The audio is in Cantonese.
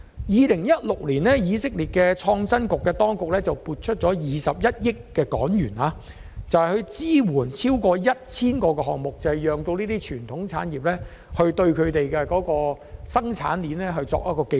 2016年，以色列的創新局撥出21億港元，支援超過 1,000 個研發項目，讓傳統產業可提升生產技術。